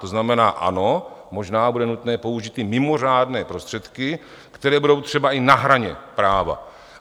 To znamená ano, možná bude nutné použít i mimořádné prostředky, které budou třeba i na hraně práva.